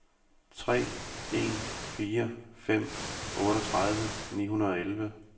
tre en fire fem otteogtredive ni hundrede og elleve